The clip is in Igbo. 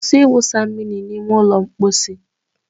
Kwụsị ịwụsa mmiri n'ime ụlọ mposi